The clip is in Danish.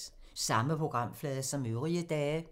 Samme programflade som øvrige dage